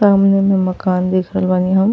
सामने में मकान देख रहल बानी हम।